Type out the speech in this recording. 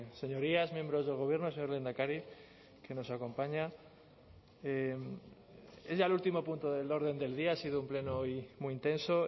señorías miembros del gobierno señor lehendakari que nos acompaña es ya el último punto del orden del día ha sido un pleno hoy muy intenso